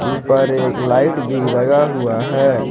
ऊपर एक लाइट भी लगा हुआ है।